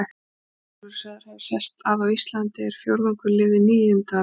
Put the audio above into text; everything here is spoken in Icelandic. Ingólfur er sagður hafa sest að á Íslandi er fjórðungur lifði níundu aldar.